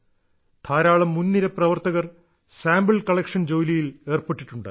ധാരാളം മുൻനിര പ്രവർത്തകർ സാമ്പിൾ കളക്ഷൻ ജോലിയിൽ ഏർപ്പെട്ടിട്ടുണ്ട്